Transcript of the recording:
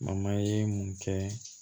ye mun kɛ